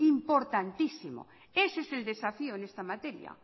importantísimo ese es el desafío en esta materia